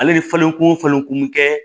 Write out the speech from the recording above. Ale bɛ falen ko falenko kɛ